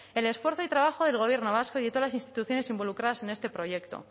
el esfuerzo y trabajo del gobierno vasco y de todas las instituciones involucradas en este proyecto